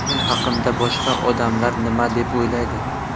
Men haqimda boshqa odamlar nima deb o‘ylaydi ?